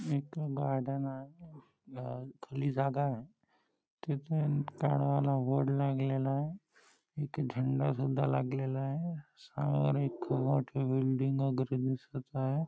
एक गार्डन आहे खाली जागा आहे तिथे काळा वाला बोर्ड लागलेला आहे एक झंडा सुद्धा लागलेला आहे समोर एक खूप मोठे बिल्डिंग वगैरे दिसत आहे.